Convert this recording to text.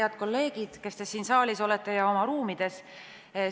Head kolleegid, kes te olete siin saalis või oma ruumides!